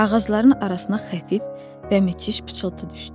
Ağacların arasına xəfif və müthiş pıçıltı düşdü.